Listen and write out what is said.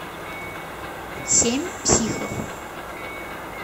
семь психов